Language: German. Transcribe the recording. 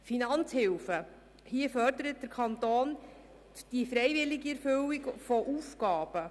Was die Finanzhilfen betrifft, fördert der Kanton die freiwillige Erfüllung von Aufgaben.